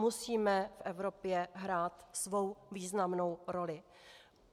Musíme v Evropě hrát svou významnou roli.